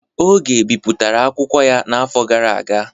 Oge bipụtara akwụkwọ ya n'afọ gara aga.